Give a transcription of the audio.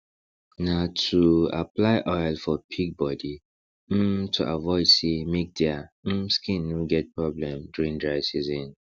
na too apply oil for pig body um to avoid sey make dia um skin no get problem during dry season